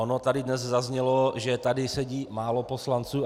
Ono tady dnes zaznělo, že tady sedí málo poslanců.